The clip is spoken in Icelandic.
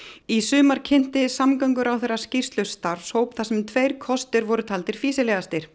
í sumar kynnti samgönguráðherra skýrslu starfshóps þar sem tveir kostir voru taldir fýsilegastir